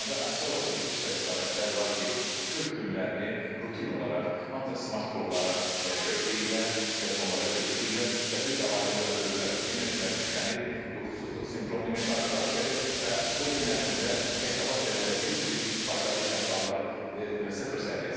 Ancaq əfsuslar olsun ki, bir sıra istifadəçilər var ki, bütöv günlərini rutin olaraq ancaq smart qurğulara kökləyirlər, telefonlara kökləyirlər və bir də ayılırlar görürlər ki, enerjiləri tükənib, yuxusuzluq sindromu ilə qarşı-qarşıyadır və o gün ərzində hesabat verəndə heç bir faydalı iş əmsalları sıfır səviyyəsindədir.